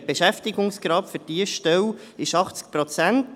Der Beschäftigungsgrad für diese Stelle ist 80 Prozent.